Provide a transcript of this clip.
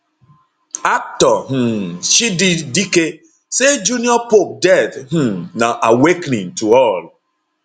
actor um chidi dike say junior pope death um na awakening to all